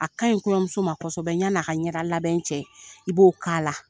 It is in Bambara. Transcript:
A ka ɲi kɔɲɔmuso ma kosɛbɛ y'a ni a ka ɲɛ da labɛn cɛ i b'o k'a la.